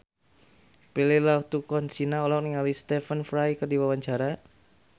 Prilly Latuconsina olohok ningali Stephen Fry keur diwawancara